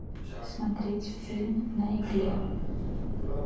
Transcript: смотреть фильм на игле